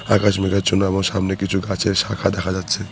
আকাশ মেঘাচ্ছন্ন আবার সামনে কিছু গাছের শাখা দেখা যাচ্ছে।